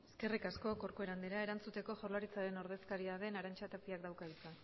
eskerrik asko corcuera andrea erantzuteko jaurlaritzaren ordezkaria den arantxa tapiak dauka hitza